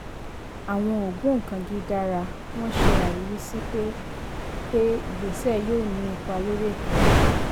àwọn ògbóǹkangí dara wọn ṣe àríwísí pé pé ìgbésẹ̀ yóò ní ipa lórí ètò ajé.